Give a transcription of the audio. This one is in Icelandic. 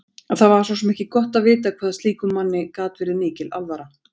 Það var svo sem ekki gott að vita hvað slíkum manni gat verið mikil alvara.